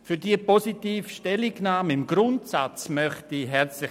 Für diese im Grundsatz positive Stellungnahme danke ich herzlich.